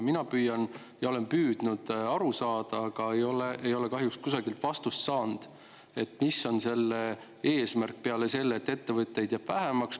Mina olen püüdnud aru saada, aga ei ole kahjuks kusagilt vastust saanud, mis on selle eesmärk peale selle, et ettevõtteid jääb vähemaks.